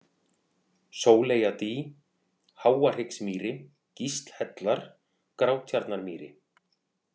Sóleyjadý, Háahryggsmýri, Gíslhellar, Grátjarnarmýri